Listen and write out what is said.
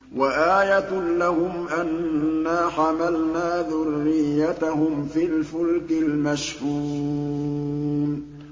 وَآيَةٌ لَّهُمْ أَنَّا حَمَلْنَا ذُرِّيَّتَهُمْ فِي الْفُلْكِ الْمَشْحُونِ